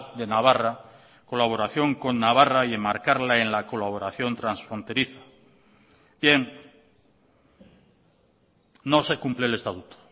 de navarra colaboración con navarra y enmarcarla en la colaboración transfronteriza bien no se cumple el estatuto